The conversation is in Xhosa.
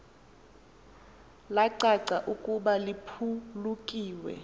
lacaca ukuba liphulukiwe